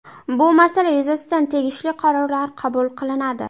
Bu masala yuzasidan tegishli qarorlar qabul qilinadi.